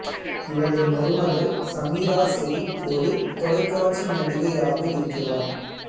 இவரது மருமகள் சமீரா செரிப் ஒரு தொலைக்காட்சி நடிகையாக இருக்கிறார்